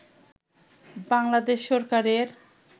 বাংলাদেশ সরকারের